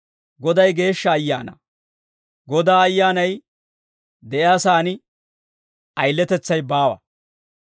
Goday Geeshsha Ayaana. Godaa Ayyaanay de'iyaa saan ayiletetsay baawa.